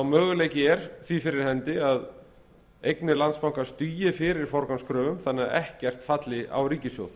möguleiki er því fyrir hendi að eignir landsbankans dugi fyrir forgangskröfum þannig að ekkert falli á ríkissjóð